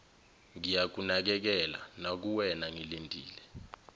ngiyakunakekela nakuwena ngilindele